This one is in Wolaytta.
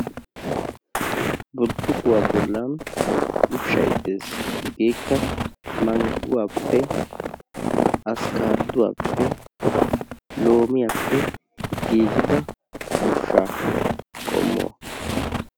Burccukuwaa bollan ushshay dees. hegeekka mangguwaappe askaaduwaappe loomiyaappe giigida ushshaa qommo.